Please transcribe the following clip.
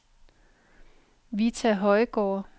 Vita Højgaard